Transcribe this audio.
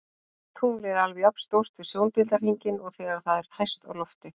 Tunglið er alveg jafn stórt við sjóndeildarhringinn og þegar það er hæst á lofti.